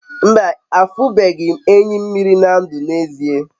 mba, afunube m enyi mmiri na ndu n'ezie